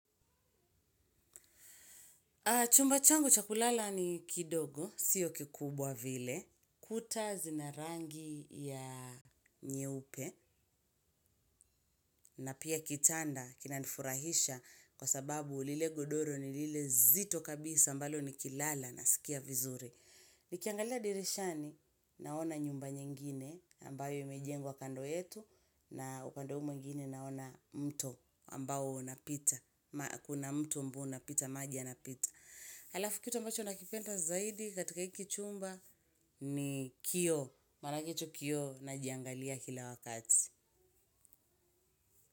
Chumba changu cha kulala ni kidogo, sio kikubwa vile, kuta zina rangi ya nyeupe, na pia kitanda kinanifurahisha kwa sababu lile godoro ni lile zito kabisa ambalo nikilala naskia vizuri. Nikiangalia dirishani naona nyumba nyingine ambayo imejengwa kando yetu na upande huu mwingine naona mto ambao unapita. Kuna mto ambao unapita maji yanapita. Halafu kitu ambacho nakipenda zaidi katika hiki chumba ni kioo. Manake hicho kioo najiangalia kila wakati.